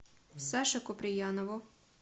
саше куприянову